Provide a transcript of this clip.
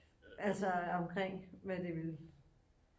Altså omkring hvad det ville